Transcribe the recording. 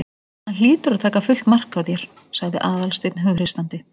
Hann hlýtur að taka fullt mark á þér- sagði Aðalsteinn hughreystandi.